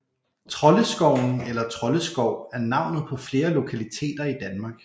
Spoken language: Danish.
Troldeskoven eller Troldeskov er navnet på flere lokaliteter i Danmark